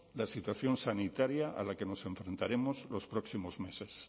la situación sanitaria a la que nos enfrentaremos los próximos meses